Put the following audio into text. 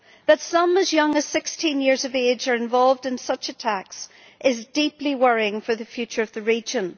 That some as young as 16 years of age are involved in such attacks is deeply worrying for the future of the region.